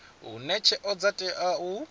hune tsheo dza tea u